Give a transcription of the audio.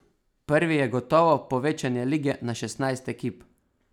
Prvi je gotovo povečanje lige na šestnajst ekip.